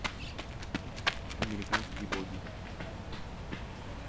американские боги